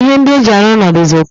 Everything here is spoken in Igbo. Ihe ndi eji aru ulo dizi uko